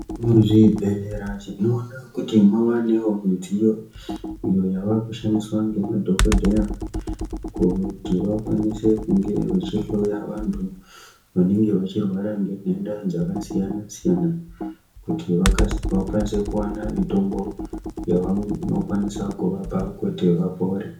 Muzvibhedhlera tinoda kuti muvanewo midziyo iyo yavakushandiswa ngema dhokodheya kuti vakwanise kunge vechihloya vanthu vanenge vachirwara ngenhenda dzakasiyana siyana kuti vachikwanise kuwana mutombo yavanokwanisa kuvapa kuti vapore.